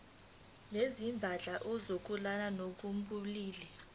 nezindaba zokulingana ngokobulili